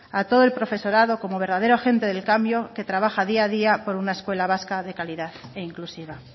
a todo el profesorado como verdadero agente del cambio que trabaja día a día por una escuela vasca de calidad e inclusiva